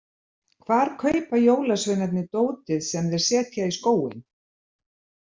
Hvar kaupa jólasveinarnir dótið sem þeir setja í skóinn?